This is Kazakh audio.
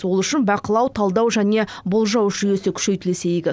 ол үшін бақылау талдау және болжау жүйесі күшейтілсе игі